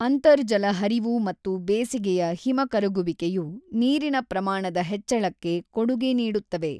ಅಂತರ್ಜಲ ಹರಿವು ಮತ್ತು ಬೇಸಿಗೆಯ ಹಿಮ ಕರಗುವಿಕೆಯು ನೀರಿನ ಪ್ರಮಾಣದ ಹೆಚ್ಚಳಕ್ಕೆ ಕೊಡುಗೆ ನೀಡುತ್ತವೆ.